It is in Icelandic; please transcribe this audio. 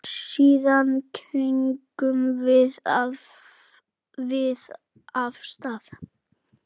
Síðan gengum við af stað.